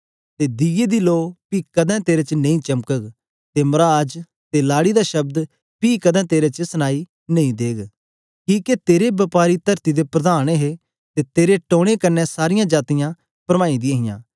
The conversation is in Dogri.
ते दियै दी लो पी कदें तेरे च नेई चमकग ते मराज ते लाड़ी दा शब्द पी कदें तेरे च सनाई नेई देग किके तेरे बपारी तरती दे प्रधान हे ते तेरे टोने कन्ने सारीयां जातीयां परमाई दियां हियां